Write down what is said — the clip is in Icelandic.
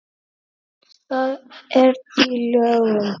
Það er í lögum.